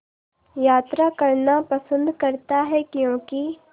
यात्रा करना पसंद करता है क्यों कि